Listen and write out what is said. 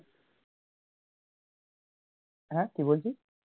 হ্যাঁ কি বলছিস